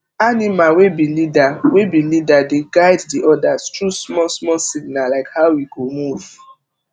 animal wey be leader wey be leader dey guide the odas through small small signal like how e go move